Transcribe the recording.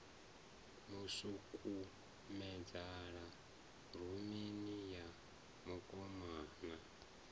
mu sukumedzela rumuni ya mukomana